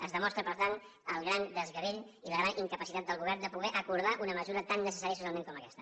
es demostra per tant el gran desgavell i la gran incapacitat del govern de poder acordar una mesura tan necessària socialment com aquesta